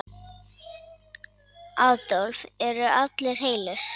Adolf: Eru allir heilir?